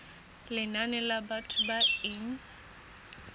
lenane la batho ba e